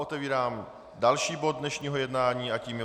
Otevírám další bod dnešního jednání a tím je